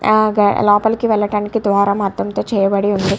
హా లోపాలకి వేలడానికి ద్వ్రము అధము తో చేయబడి ఉంది.